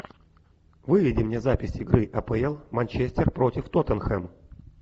выведи мне запись игры апл манчестер против тоттенхэм